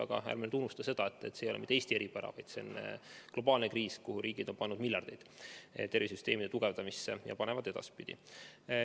Aga ärme unustame seda, et see ei ole mitte Eesti eripära, vaid see on globaalne kriis, kuhu riigid on pannud miljardeid, et tervisesüsteemi tugevdada, ja panevad edaspidigi.